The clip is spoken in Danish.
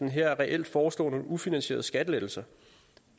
her reelt foreslår nogle ufinansierede skattelettelser